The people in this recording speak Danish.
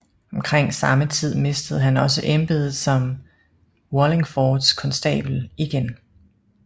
Omkring samme tid mistede han også embedet som Wallingfords konstabel igen